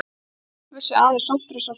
Ölfusi, aðeins sótthreinsuð hrogn.